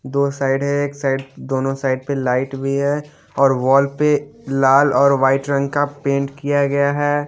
दो साइड है एक साइड दोनों साइड पे लाइट भी है और वॉल पे लाल और व्हाइट रंग का पेंट किया गया है।